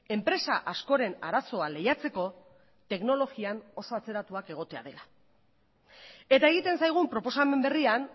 enpresa askoren arazoa lehiatzeko teknologian oso atzeratuak egotea dela eta egiten zaigun proposamen berrian